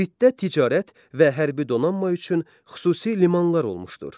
Kritdə ticarət və hərbi donanma üçün xüsusi limanlar olmuşdur.